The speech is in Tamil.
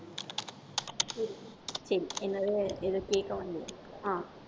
சரி என்னது ஏதோ கேட்க வந்தியே ஆஹ்